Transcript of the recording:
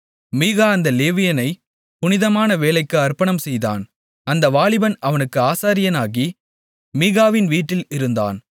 மீகா அந்த லேவியனைப் புனிதமான வேலைக்கு அர்ப்பணம் செய்தான் அந்த வாலிபன் அவனுக்கு ஆசாரியனாகி மீகாவின் வீட்டில் இருந்தான்